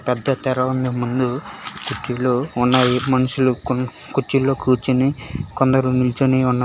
పెద్దతెర ఉంది ముందు కుర్చీలు ఉన్నవి మనుషులు కొన్ని కుర్చీలు కూర్చొని కొందరినించునే ఉన్నారు